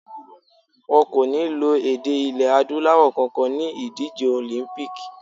Wọn kò ní lo èdè ilẹ̀ Adúláwọ̀ kankan ni ìdíje Olympic.